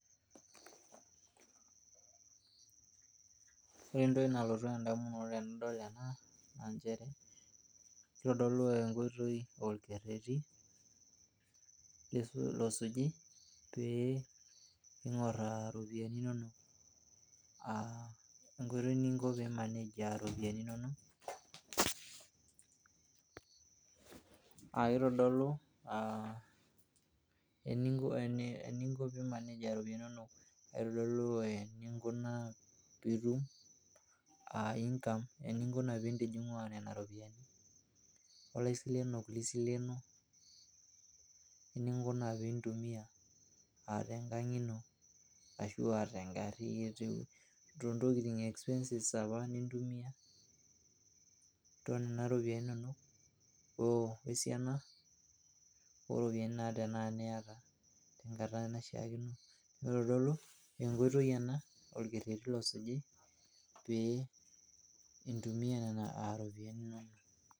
ore entoki nalotu endamunoto tenidol ena naa nchere, keitodolu enkoitoi, olkerreti losuji pee iing'orr iropiyiani inonok. Enkoitoi ningo peimanej iropiyiani inonok, aa keitodolu aah eningo peimanej iropiyiniani inonok, ekeitodolu eningunaa peitum income, ininguna piintijing'ua nena ropiyiani, olaisilenok lisileno oninguna piintumia tenkang' ino ashua toontokitin expenses opa nintumia toonena ropiyiani inonok wesiana ooropiyiani naa tenakata niyata tenkata naishiakino. Keitodolu enkoitoi ena, olkerreti losuji pee intumiyia nena ropiyiani inonok.